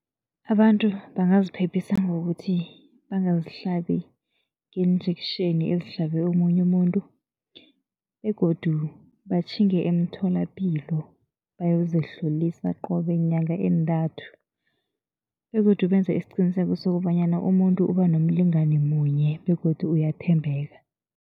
Abantu bangaziphephisa ngokuthi bangazihlabi ngeen-injection ezihlabe omunye umuntu begodu batjhinge emtholapilo, bayozihlolisa qobe nyanga eentathu, begodu benze isiqiniseko sokobanyana umuntu uba nomlingani munye begodu uyathembeka.